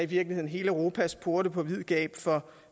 virkeligheden hele europas porte på vid gab for